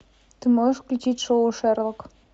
ты можешь включить шоу шерлок